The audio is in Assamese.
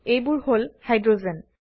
এবোৰ হল হাইড্ৰোজেন